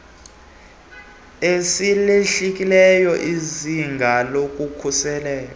asilehlisi izinga lokhuseleko